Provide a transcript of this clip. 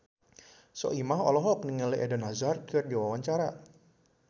Soimah olohok ningali Eden Hazard keur diwawancara